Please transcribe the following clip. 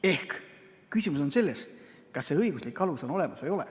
Ehk küsimus on selles, kas see õiguslik alus on olemas või ei ole.